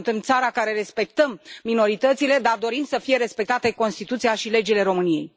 Suntem o țară care respectă minoritățile, dar dorim să fie respectate Constituția și legile României.